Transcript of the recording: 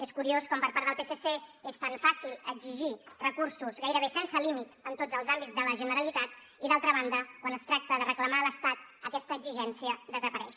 és curiós com per part del psc és tan fàcil exigir recursos gairebé sense límit en tots els àmbits de la generalitat i d’altra banda quan es tracta de reclamar a l’estat aquesta exigència desapareix